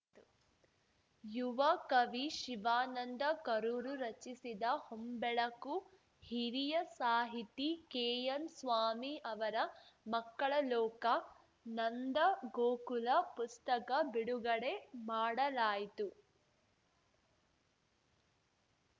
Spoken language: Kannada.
ಯುವ ಕವಿ ಶಿವಾನಂದ ಕರೂರು ರಚಿಸಿದ ಹೊಂಬೆಳಕು ಹಿರಿಯ ಸಾಹಿತಿ ಕೆಎನ್‌ಸ್ವಾಮಿ ಅವರ ಮಕ್ಕಳ ಲೋಕ ನಂದಗೋಕುಲ ಪುಸ್ತಕ ಬಿಡುಗಡೆ ಮಾಡಲಾಯಿತು